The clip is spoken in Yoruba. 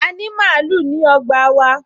A ní màálù ní ọgbà wa